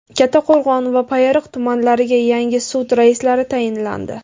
Kattaqo‘rg‘on va Payariq tumanlariga yangi sud raislari tayinlandi.